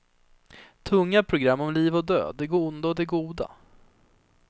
Tunga program om liv och död, det onda och det goda.